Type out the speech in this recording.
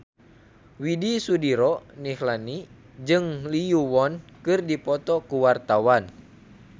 Widy Soediro Nichlany jeung Lee Yo Won keur dipoto ku wartawan